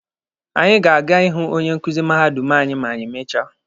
Anyị ga-aga ịhụ onye nkuzi mahadum anyị ma anyị mechaa.